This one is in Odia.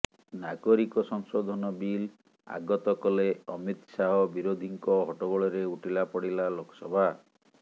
ନାଗରିକ ସଂଶୋଧନ ବିଲ୍ ଆଗତ କଲେ ଅମିତ ଶାହ ବିରୋଧୀଙ୍କ ହଟ୍ଟଗୋଳରେ ଉଠିଲା ପଡ଼ିଲା ଲୋକସଭା